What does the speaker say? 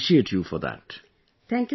I would like to appreciate you for that